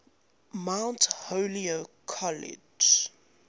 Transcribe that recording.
mount holyoke college